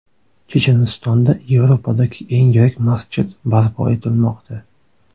Chechenistonda Yevropadagi eng yirik masjid barpo etilmoqda.